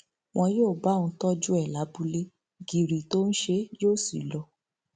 wọn yóò bá òun tọjú ẹ lábúlé gírí tó ń ṣe é yóò sì lọ